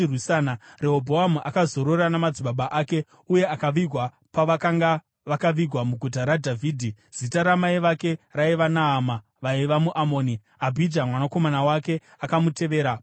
Rehobhoamu akazorora namadzibaba ake uye akavigwa pavakanga vakavigwa muguta raDhavhidhi. Zita ramai vake raiva Naama; vaiva muAmoni. Abhija mwanakomana wake akamutevera paumambo.